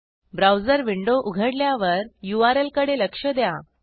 browser window उघडल्यावरURL कडे लक्ष द्या